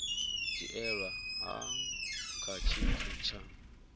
dzhielwa nha kha tshithu tsha